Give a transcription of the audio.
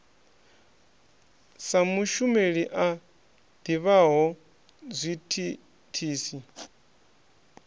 sa mushumeli a ḓivhaho zwithithisi